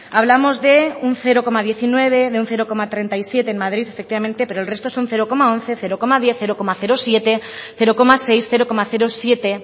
hablamos de un cero coma diecinueve de un cero coma treinta y siete en madrid efectivamente pero el resto son cero coma once cero coma diez cero coma siete cero coma seis cero coma siete